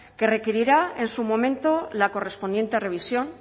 que requerirá en su momento la correspondiente revisión